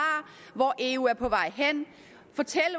hvor eu er på vej hen